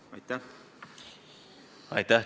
Aitäh!